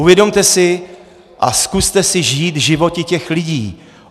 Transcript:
Uvědomte si a zkuste si žít životy těch lidí.